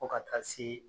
Fo ka taa se